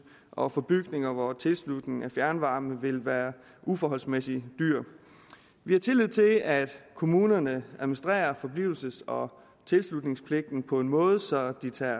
og for bygninger hvor tilslutning af fjernvarme vil være uforholdsmæssig dyr vi har tillid til at kommunerne administrerer forblivelses og tilslutningspligten på en måde så de tager